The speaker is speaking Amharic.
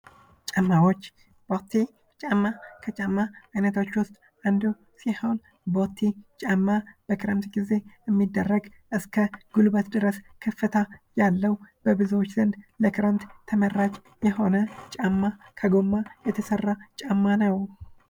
ጫማዎች ቦቴ ጫማ:-ከጫማ አይነቶች ውስጥ አንዱ ሲሆን ቦቴ ጫማ በክረምት ግዜ የሚደረግ እስከ ጉልበት ድረስ ከፍታ ያለው በብዙዎች ዘንድ ለክረምት ተመራጭ የሆነ ጫማ ከጎማ የተሰራ ጫማ ነው።